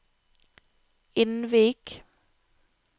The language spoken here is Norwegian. Innvik